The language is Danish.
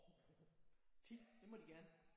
Åh 10? Det må de gerne